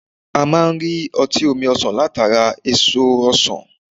A máa n rí ọtí omi ọsàn látara èso ọsàn